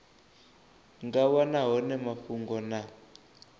nga wana hone mafhungo na